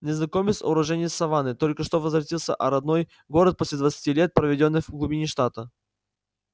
незнакомец уроженец саванны только что возвратился а родной город после двадцати лет проведённых в глубине штата